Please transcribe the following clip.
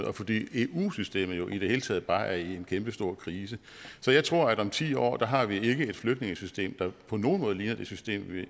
og fordi eu systemet i det hele taget bare er i en kæmpestor krise så jeg tror at om ti år har vi ikke et flygtningesystem der på nogen måde ligner det system